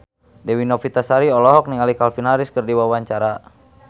Dewi Novitasari olohok ningali Calvin Harris keur diwawancara